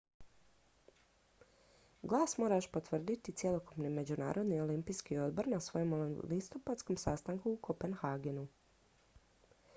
glas mora još potvrditi cjelokupni međunarodni olimpijski odbor na svojem listopadskom sastanku u kopenhagenu